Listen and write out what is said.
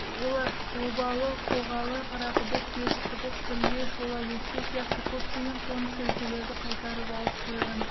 олар обалы қоғалы қарақұдық терісқұдық білде шолакеспе сияқты көптеген қоныс өлкелерді қайтарып алып қойған